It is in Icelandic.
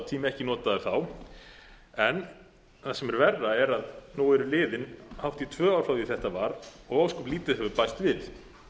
tími ekki notaður þá en það sem er verra er að nú eru liðin hátt í tvö ár frá því að þetta var og ósköp lítið hefur bæst við